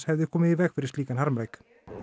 hefði komið í veg fyrir þennan harmleik